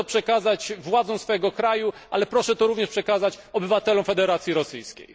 Proszę to przekazać władzom swojego kraju, ale proszę to również przekazać obywatelom Federacji Rosyjskiej.